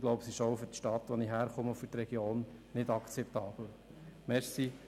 Ich glaube, dass es auch für meine Herkunftsstadt und -region nicht akzeptabel ist.